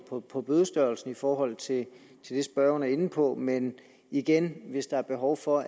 på på bødestørrelsen i forhold til det spørgeren er inde på men igen hvis der er behov for